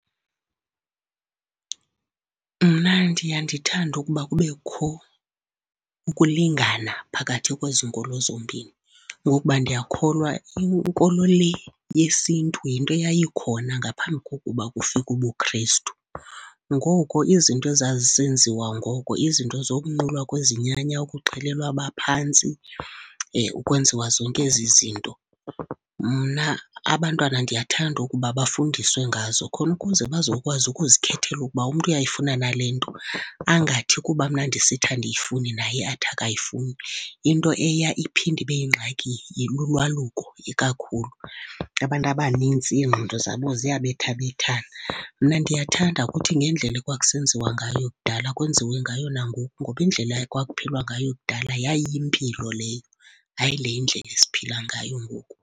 Mna ndiya ndithande ukuba kubekho ukulingana phakathi kwezi nkolo zombini, ngokuba ndiyakholwa inkolo le yesiNtu yinto eyayikhona ngaphambi kokuba kufike ubuKrestu. Ngoko izinto ezazisenziwa ngoko, izinto zokunqulwa kwezinyanya, ukuxhelelwa abaphantsi, ukwenziwa zonke ezizinto, mna abantwana ndiyathanda ukuba bafundiswe ngazo khona ukuze bazokwazi ukuzikhethela ukuba umntu uyayifumana na le nto, angathi kuba mna ndisithi andiyifuni naye athi akayifuni. Into eya iphinde ibe yingxaki lulwaluko ikakhulu. Abantu abanintsi ingqondo zabo ziyabethabethana. Mna ndiyathanda ukuthi ngendlela ekwakusenziwa ngayo kudala kwenziwe ngayo nangoku ngoba indlela ekwakuphilwa ngayo kudala yayiyimpilo leyo, hayi lendlela esiphila ngayo ngoku.